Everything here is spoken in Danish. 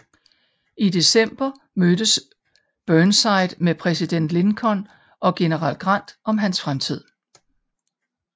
I december mødtes Burnside med præsident Lincoln og general Grant om hans fremtid